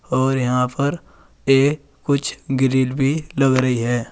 और यहां पर ये कुछ ग्रिल भी लग रही है।